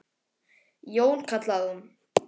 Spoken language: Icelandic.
Jón, kallaði hún.